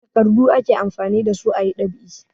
Takardu ake amfani da su a yi ɗab'i.